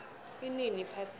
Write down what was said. inini iphasika